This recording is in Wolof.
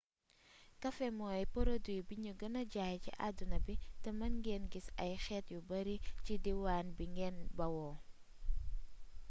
kafe mooy porodiwi buñuy gëna jaay ci addina bi te mën ngeen gis ay xeet yu bari ci diiwaan bi ngeen bawoo